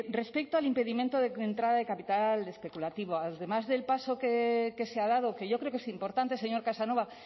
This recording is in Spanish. respecto al impedimento de entrada de capital especulativo además del paso que se ha dado que yo creo que es importante señor casanova